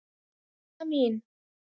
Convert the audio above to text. Unna mín.